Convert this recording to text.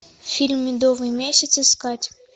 фильм медовый месяц искать